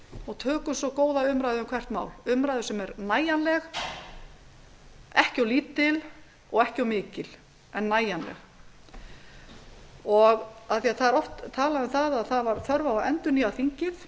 og tökum svo góða umræðu um hvert mál umræðu sem er nægjanleg ekki of lítil og ekki of mikil heldur nægjanleg oft var talað um að þörf væri á að endurnýja þingið